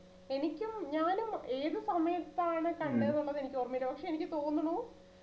എനിക്കും ഞാനും ഏത് സമയത്താണ് കണ്ടത്ന്നുള്ളത് എനിക്കൊർമയില്ല പക്ഷെ എനിക്ക് തോന്നുണു